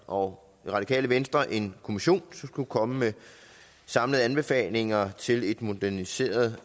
og radikale venstre en kommission som skulle komme med samlede anbefalinger til et moderniseret